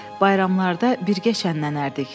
Bayramlarda birgə şənlənərdik.